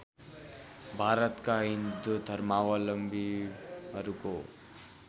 भारतका हिन्दू धर्मावलम्बीहरूको